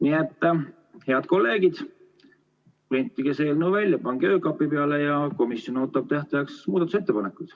Nii et, head kolleegid, printige see eelnõu välja, pange öökapi peale ja komisjon ootab tähtajaks muudatusettepanekuid.